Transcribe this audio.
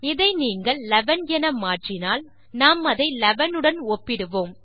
இதை நீங்கள் 11 என மாற்றினால் நாம் அதை 11 உடன் ஒப்பிடுவோம்